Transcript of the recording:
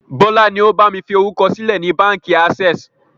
Bọlá ni ó bami fi orúkọ sílẹ̀ ni Báńkì access.